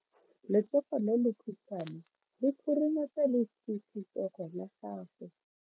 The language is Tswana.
Letsogo le lekhutshwane le khurumetsa lesufutsogo la gago.